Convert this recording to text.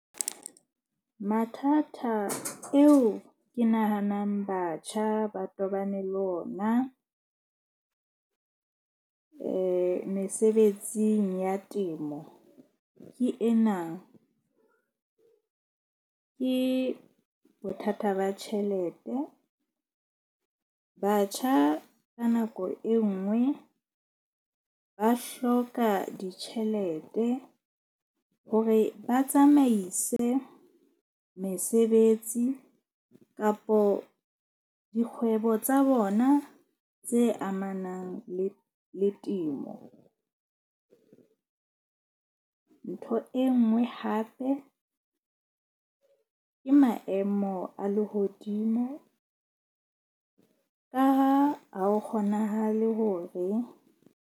Mathata eo ke nahanang batjha ba tobane le ona mesebetsing ya temo ke ena, ke bothata ba tjhelete. Batjha ka nako e nngwe ba hloka ditjhelete hore ba tsamaise mesebetsi kapo dikgwebo tsa bona tse amanang le temo. Ntho e nngwe hape ke maemo a lehodimo ka ha ho kgonahale hore.